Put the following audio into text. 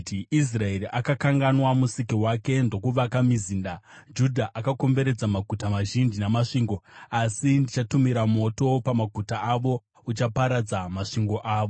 Israeri akakanganwa Musiki wake ndokuvaka mizinda; Judha akomberedza maguta mazhinji namasvingo. Asi ndichatumira moto pamaguta avo uchaparadza masvingo avo.”